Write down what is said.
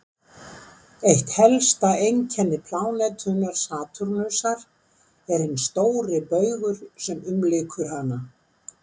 Eitt helsta einkenni plánetunnar Satúrnusar er hinn stóri baugur sem umlykur hana.